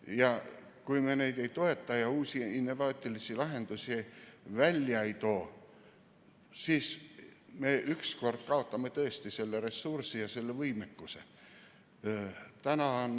Ja kui me neid ei toeta ja uusi innovaatilisi lahendusi välja ei too, siis me ükskord kaotame tõesti selle ressursi ja selle võimekuse.